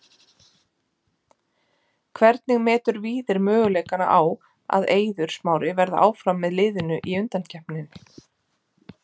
Hvernig metur Víðir möguleikana á að Eiður Smári verði áfram með liðinu í undankeppninni?